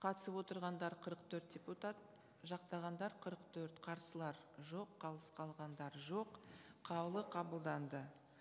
қатысып отырғандар қырық төрт депутат жақтағандар қырық төрт қарсылар жоқ қалыс қалғандар жоқ қаулы қабылданды